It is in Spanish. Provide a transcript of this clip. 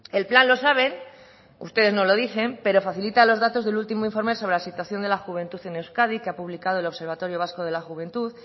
el plan lo saben ustedes no lo dicen pero facilita los datos del último informe sobre la situación de la juventud en euskadi que ha publicado el observatorio vasco de la juventud